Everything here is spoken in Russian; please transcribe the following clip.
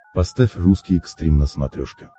поставь русский экстрим на смотрешке